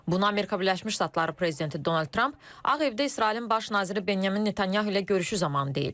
Buna Amerika Birləşmiş Ştatları prezidenti Donald Tramp Ağ Evdə İsrailin baş naziri Benyamin Netanyahu ilə görüşü zamanı deyib.